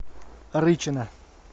рычина